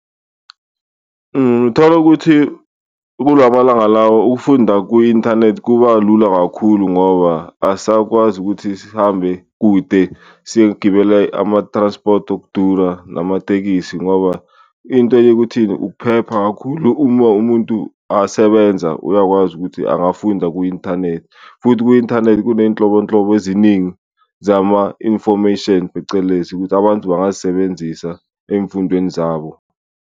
Ngithola ukuthi kulamalanga lawa ukufunda kwi-inthanethi kuba lula kakhulu ngoba asakwazi ukuthi sihambe kude, siyogibela ama-transport okudura namatekisi ngoba into enye ukuthini, ukuphepha kakhulu. Uma umuntu asebenza uyakwazi ukuthi angafunda ku-inthanethi futhi ku-inthanethi kuneyinhlobonhlobo eziningi zama-infomation phecelezi, ukuthi abantu bangazisebenzisa emfundweni zabo.